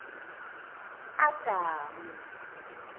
adamu